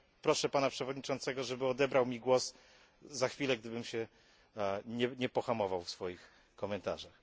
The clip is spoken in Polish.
Proszę pana przewodniczącego, żeby odebrał mi głos za chwilę, gdybym się nie pohamował w swoich komentarzach.